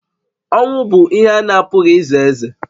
Ọnwụ bụ ihe a na-apụghị ize eze